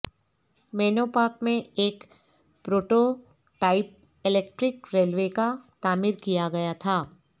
مینو Park میں ایک prototype electric railway کا تعمیر کیا گیا تھا